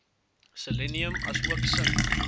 selenium asook sink